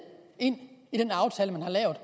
ind i den aftale man har lavet